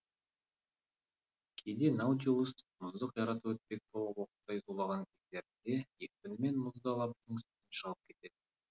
кейде наутилус мұзды қиратып өтпек болып оқтай зулаған кездерінде екпінімен мұзды алаптың үстіне шығып кететін